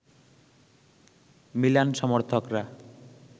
Milan সমর্থকরা